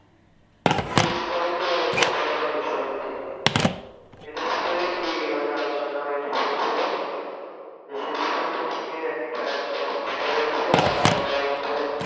শিল্পী সমিতি আর হচ্ছে hall মালিক সমিতি এদের ভিতরে কি মানে আলচলানা হয়েছে শুনছিলাম যে শিল্পী সমিতি থেকে একটা এক রকম কথা বলছে আর তোমার হচ্ছে